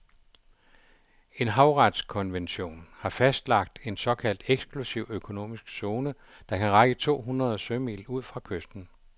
En havretskonvention har fastlagt en såkaldt eksklusiv økonomisk zone, der kan række to hundrede sømil ud fra kysten.